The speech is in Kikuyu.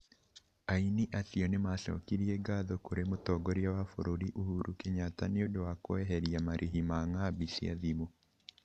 Aini acio nima cokirie ngatho kuri mutongoria wa bururi ũhuru Kenyatta niundũ wa kũ eheria marĩhi ma ngambi cia thimu.